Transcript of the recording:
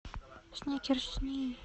сникерсни